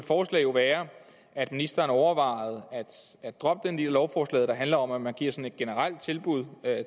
forslag være at ministeren overvejede at droppe den del af lovforslaget der handler om at man giver sådan et generelt tilbud